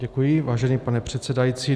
Děkuji, vážený pane předsedající.